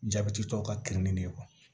Jabɛti tɔw ka kirinni nin